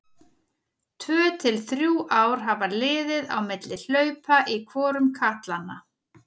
Tvö til þrjú ár hafa liðið á milli hlaupa í hvorum katlanna.